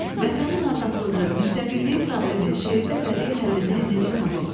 Vətənin azadlığı, müstəqilliyi problemi şeirdə bədii həllini necə tapıb?